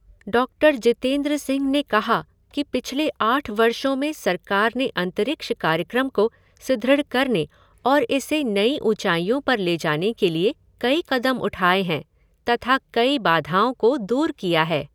Doctor Jitendra Singh ने कहा कि पिछले आठ वर्षों में सरकार ने अंतरिक्ष कार्यक्रम को सुदृढ़ करने और इसे नई ऊंचाइयों पर ले जाने के लिए कई कदम उठाए हैं तथा कई बाधाओं को दूर किया है।